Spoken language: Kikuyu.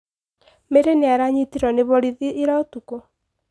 Mary nĩaranyitirwo nĩ borithi ira ũtukũ.